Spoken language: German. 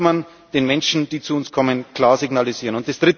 Auch das muss man den Menschen, die zu uns kommen, klar signalisieren.